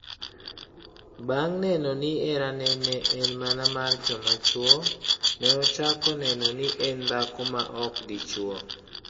Bang' fwenyo ni herane ne en mana mar joma chwo, ne ochako neno ni en dhako ma ok dichwo.